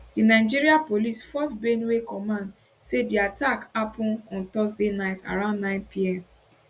di nigeria police force benue command say di attack happun on thursday night around 9pm